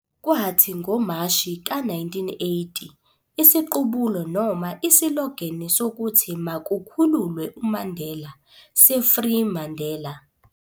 Kwathi ngoMashi ka 1980 isiqubulo noma isilogeni sokuthi Makukhululwe uMandela se-"Free Mandela!"